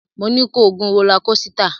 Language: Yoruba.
Mo ní ko gun rólá kosità!